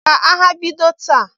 Ka agha bido taa!